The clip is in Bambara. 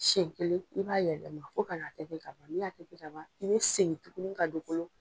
Siyɛn kelen i b'a yɛlɛma, fo ka na tenten ka ban n'i y'a tenten ka ban, i bi segin tuguni ka don kolo